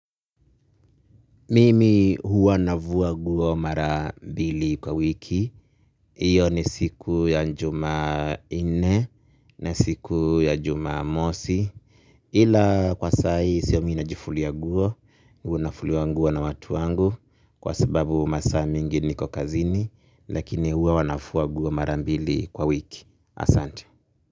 Mimi huwa nafua nguo mara mbili kwa wiki. Hiyo ni siku ya jumannne na siku ya jumamosi. Ila kwa sasahivi siyo mimi najifulia nguo, huwa nafuliwa nguo na watu wangu kwa sababu masaa mingi niko kazini. Lakini hua wanafuwa guo mara mbili kwa wiki. Asante.